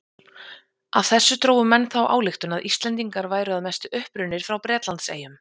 Af þessu drógu menn þá ályktun að Íslendingar væru að mestu upprunnir frá Bretlandseyjum.